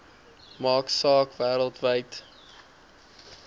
maak saak wêreldwyd